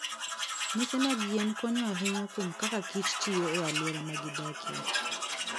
Mise mag yien konyo ahinya kuom kaka kich tiyo e alwora ma gidakie.